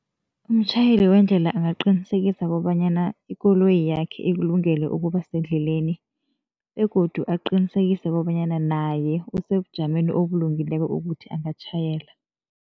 Umtjhayeli wendlela angaqinisekisa kobanyana ikoloyi yakhe ikulungele ukuba sendleleni begodu aqinisekise kobanyana naye, usebujameni obulungileko ukuthi angatjhayela.